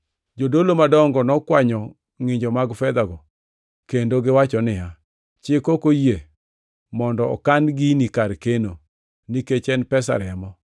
Jodolo madongo nokwanyo ngʼinjo mag fedhago kendo giwacho niya, “Chik ok oyie mondo okan gini kar keno, nikech en pesa remo.”